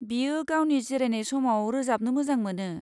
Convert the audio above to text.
बियो गावनि जिरायनाय समाव रोजाबनो मोजां मोनो।